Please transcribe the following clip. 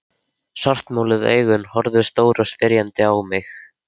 Svartmáluð augun horfðu stór og spyrjandi á mig.